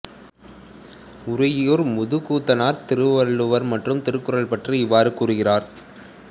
உறையூர் முதுகூத்தனார் திருவள்ளுவர் மற்றும் திருக்குறள் பற்றி இவ்வாறு கூறுகிறார்